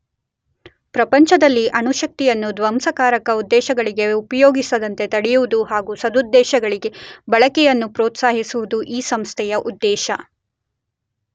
ಪ್ರಪಂಚದಲ್ಲಿ ಅಣುಶಕ್ತಿಯನ್ನು ಧ್ವಂಸಕಾರಕ ಉದ್ದೇಶಗಳಿಗೆ ಉಪಯೋಗಿಸದಂತೆ ತಡೆಯುವುದು ಹಾಗು ಸದುದ್ದೇಶಗಳಿಗೆ ಬಳಕೆಯನ್ನು ಪ್ರೋತ್ಸಾಹಿಸುವುದು ಈ ಸಂಸ್ಥೆಯ ಉದ್ದೇಶ.